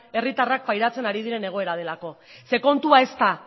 herritarrak pairatzen ari diren egoera delako kontua ez da